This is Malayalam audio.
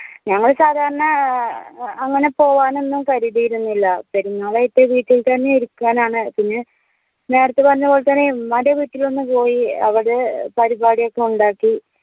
ഞങ്ങള് സാധാരണ ഏർ അങ്ങനെ പോവാൻ ഒന്നും കരുതിയിരുന്നില്ല പെരുന്നാളായിട്ട് വീട്ടിൽ തന്നെ ഇരിക്കുവാനാണ് പിന്നെ നേരെത്തെ പറഞ്ഞപോലെ തന്നെ ഉമ്മാന്റെ വീട്ടിലൊന്ന് പോയി അവടെ പരുപാടി ഒക്കെ ഒണ്ടാക്കി